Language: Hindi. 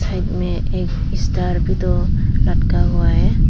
साइड में एक स्टार भी तो लटका हुआ है।